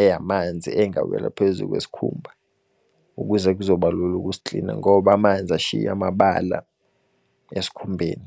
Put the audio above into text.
eyamanzi engawela phezu kwesikhumba. Ukuze kuzobalula ukusiklina, ngoba amanzi ashiye amabala esikhumbeni.